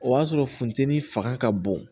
O y'a sɔrɔ funteni fanga ka bon